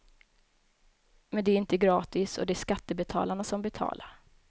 Men de är inte gratis, och det är skattebetalarna som betalar.